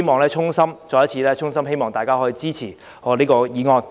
我衷心希望大家可以支持我的議案。